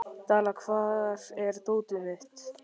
Dalla, hvar er dótið mitt?